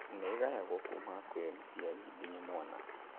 Nĩĩgayagwo kuma kwĩ mũciari nginya mwana